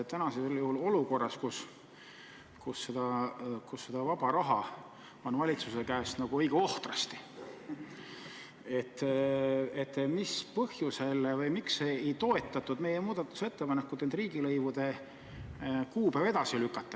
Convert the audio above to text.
Praeguses olukorras, kus seda vaba raha on valitsuse käes õige ohtrasti, mis põhjusel või miks ei toetatud meie muudatusettepanekut riigilõivude kuupäev edasi lükata?